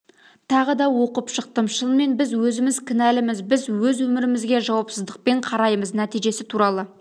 тағы да оқып шықтым шынымен біз өзіміз кінәліміз біз өз өмірімізге жауапсыздықпен қараймыз нәтижесі туралы